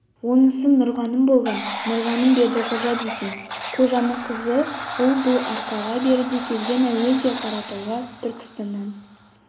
онысы нұрғаным болған нұрғаным бердіқожа дейтін қожаның қызы ол бұл арқаға беріде келген әуелде қаратауға түркістаннан